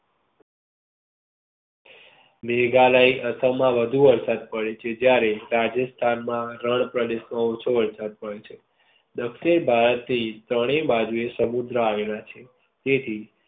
મેઘાલય અસમ માં વધુ વરસાદ પડે છે જયારે રાજસ્થાન ના રણ પ્રદેશો માં ઓછો વરસાદ પડે છે. દક્ષિણ ભારત થી ત્રણેય બાજુ એ સમુદ્ર આવેલા છે.